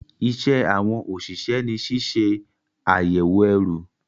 Iṣẹ́ àwọn òṣìṣẹ́ ni ṣíṣe àyẹ̀wò ẹrù